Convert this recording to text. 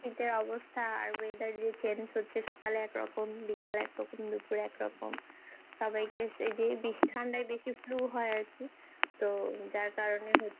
অবস্থা আর weather যে change হচ্ছে সকালে একরকম বিকালে একরকম দুপুরে একরকম সবাইকে সে যে ঠান্ডায় বেশি flu হয় আরকি তো যার কারণে